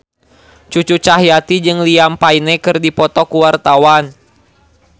Cucu Cahyati jeung Liam Payne keur dipoto ku wartawan